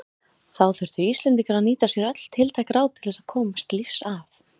Þá þurftu Íslendingar að nýta sér öll tiltæk ráð til þess að komast lífs af.